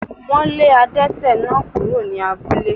Wọ́n lé adẹ́tẹ̀ náà kúrò ní abúlé